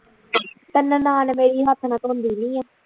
ਪਹਿਲਾਂ ਨਨਾਣ ਮੇਰੀ ਹੱਥ ਨਾਲ ਧੋਦੀਂ ਨਹੀ